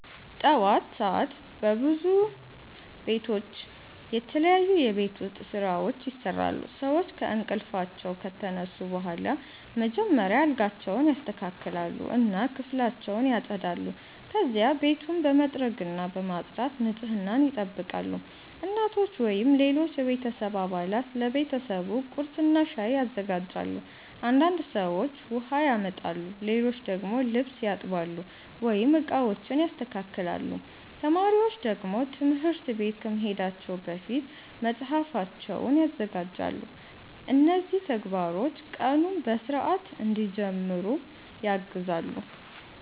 ጠዋት ሰዓት በብዙ ቤቶች የተለያዩ የቤት ውስጥ ስራዎች ይሰራሉ። ሰዎች ከእንቅልፋቸው ከተነሱ በኋላ መጀመሪያ አልጋቸውን ያስተካክላሉ እና ክፍላቸውን ያጸዳሉ። ከዚያ ቤቱን በመጥረግና በማጽዳት ንጽህናን ይጠብቃሉ። እናቶች ወይም ሌሎች የቤተሰብ አባላት ለቤተሰቡ ቁርስና ሻይ ያዘጋጃሉ። አንዳንድ ሰዎች ውሃ ያመጣሉ፣ ሌሎች ደግሞ ልብስ ያጥባሉ ወይም ዕቃዎችን ያስተካክላሉ። ተማሪዎች ደግሞ ትምህርት ቤት ከመሄዳቸው በፊት መጽሐፋቸውን ያዘጋጃሉ። እነዚህ ተግባሮች ቀኑን በሥርዓት እንዲጀምሩ ያግዛሉ።